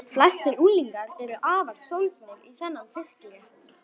Flestir unglingar eru afar sólgnir í þennan fiskrétt.